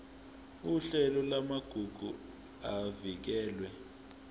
uhlelo lwamagugu avikelwe